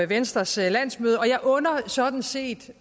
venstres landsmøde og jeg under sådan set